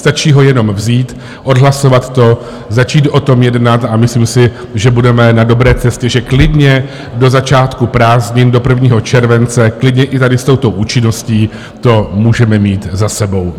Stačí ho jenom vzít, odhlasovat to, začít o tom jednat a myslím si, že budeme na dobré cestě, že klidně do začátku prázdnin, do 1. července, klidně i tady s touto účinností to můžeme mít za sebou.